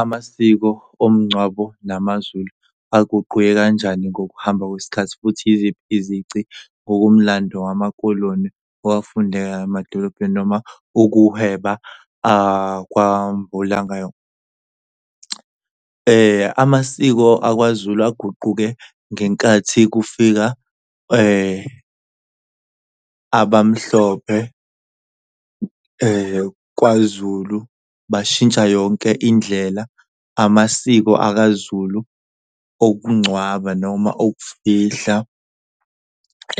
Amasiko omngcwabo namaZulu aguquke kanjani ngokuhamba kwesikhathi futhi yiziphi izici ngokomlando wamaKoloni owafundeka emadolobheni noma ukuhweba ? Amasiko akwaZulu aguquke ngenkathi kufika abamhlophe kwaZulu bashintsha yonke indlela amasiko akaZulu okungcwaba noma okufihla